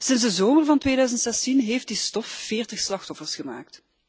Sinds de zomer van 2016 heeft die stof 40 slachtoffers gemaakt.